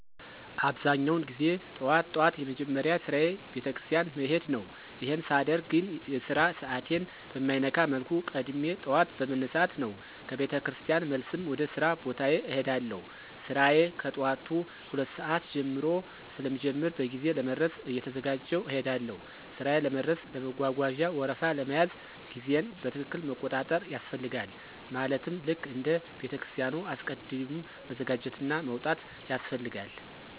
አብዛኛውን ጊዜ ጠዋት ጠዋት የመጀመሪያ ስራየ ቤተክርስቲያን መሄድ ነው፣ ይሄን ሳደርግ ግን የስራ ሰዓቴን በማይነካ መልኩ ቀድሜ ጠዋት በመነሳት ነው፣ ከ ቤተክርስቲያን መልስም ወደ ሥራ ቦታዬ እሄዳለሁ። ስራዬ ከጠዋቱ 2:00 ሰዓት ጀምሮ ስለሚጀምር በጊዜ ለመድረስ እየተዘጋጀሁ እሄዳለሁ። ሥራዬ ለመድረስ ለመጓጓዣ ወረፋ ለመያዝ ጊዜየን በትክክል መቆጣጠር ያስፈልጋል ማለትም ልክ እንደ ቤተክርስቲያኑ አስቀድም መዘጋጀትና መውጣት ያስፈልጋል።